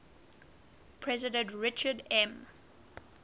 president richard m